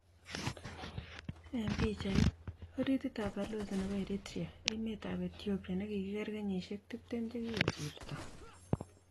eng' pichait: oritit ab balozi nebo Eritrea emet ab Ethiopia nekikiger kenyisiek 20 che kikosirto.